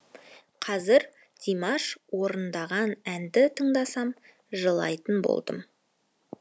қазір димаш орындаған әнді тыңдасам жылайтын болдым